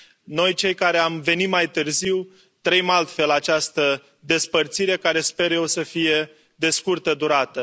Noi, cei care am venit mai târziu, trăim altfel această despărțire care, sper eu, să fie de scurtă durată.